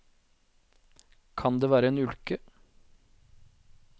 Kan det være en ulke?